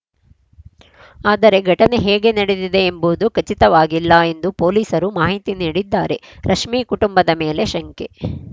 ಆದರೆ ಘಟನೆ ಹೇಗೆ ನಡೆದಿದೆ ಎಂಬುದು ಖಚಿತವಾಗಿಲ್ಲ ಎಂದು ಪೊಲೀಸರು ಮಾಹಿತಿ ನೀಡಿದ್ದಾರೆ ರಶ್ಮಿ ಕುಟುಂಬದ ಮೇಲೆ ಶಂಕೆ